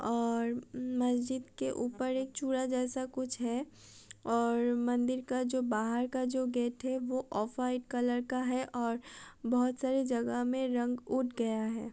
और मस्जिद के ऊपर एक चूल्हा जैसा है और मंदिर का जो बाहर का जो गेट है वो ऑफ़ वाइट कलर का है और बोहोत सारे जगा में रंग उट गया है।